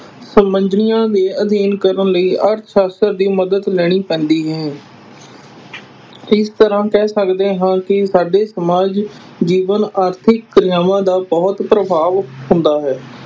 ਦੇ ਅਧੀਨ ਕਰਨ ਲਈ ਅਰਥਸ਼ਾਸਤਰ ਦੀ ਮਦਦ ਲੈਣੀ ਪੈਂਦੀ ਹੈ ਇਸ ਤਰ੍ਹਾਂ ਕਹਿ ਸਕਦੇ ਹਾਂ ਕਿ ਸਾਡੇ ਸਮਾਜ ਜੀਵਨ ਆਰਥਿਕ ਕਿਰਿਆਵਾਂ ਦਾ ਬਹੁਤ ਪ੍ਰਭਾਵ ਹੁੰਦਾ ਹੈ।